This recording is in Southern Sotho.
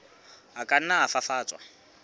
a ka nna a fafatswa